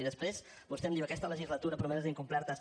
i després vostè em diu aquesta legislatura promeses incomplertes